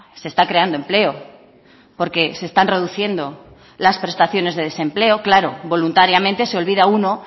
se está creando empleo porque se están reduciendo las prestaciones de desempleo claro voluntariamente se olvida uno